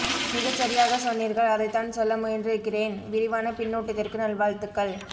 மிகச் சரியாகச் சொன்னீர்கள் அதைத்தான் சொல்ல முயன்றிருக்கிறேன் விரிவான பின்னூட்டத்திற்கு நல்வாழ்த்துக்கள்